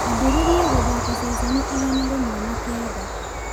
ambĩrĩria gũthaaka ceceni igana rĩmwe na kenda